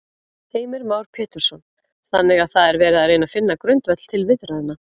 Heimir Már Pétursson: Þannig að það er verið að reyna finna grundvöll til viðræðna?